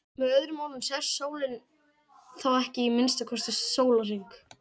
með öðrum orðum sest sólin þá ekki í að minnsta kosti sólarhring